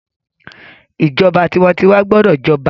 ìjọba tiwantiwa gbọdọ j'oba